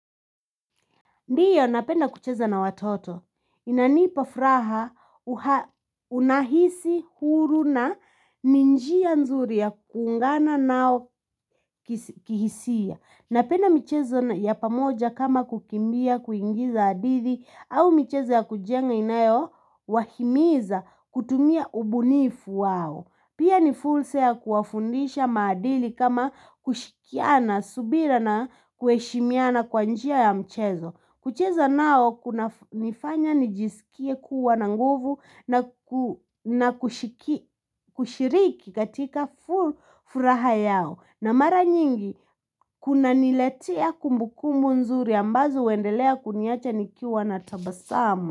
Ndiyo napenda kucheza na watoto. Inanipa furahaa unahisi huru na ni njia nzuri ya kuungana nao kihisia. Napenda michezo ya pamoja kama kukimbia kuigiza hadidhi au michezo ya kujenga inayo wahimiza kutumia ubunifu wao. Pia ni fursa ya kuwa fundisha maadili kama kushirikiana subira na kueshimiana kwanjia ya mchezo. Kucheza nao kuna nifanya nijisikia kuwa na nguvu na kushiriki katika furaha yao. Na mara nyingi kuna nilatia kumbukumu nzuri ambazo wendelea kuniacha nikiwa na tabasamu.